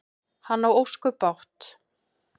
Hann á ósköp bágt.